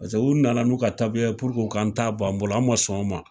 Paseke u nana n'u ka taabiya puruke o k'an ta bɔ an bolo an ma sɔn o ma.